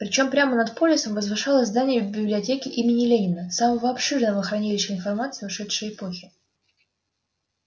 причём прямо над полисом возвышалось здание библиотеки имени ленина самого обширного хранилища информации ушедшей эпохи